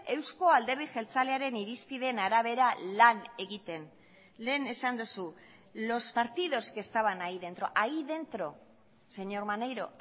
euzko alderdi jeltzalearen irizpideen arabera lan egiten lehen esan duzu los partidos que estaban ahí dentro ahí dentro señor maneiro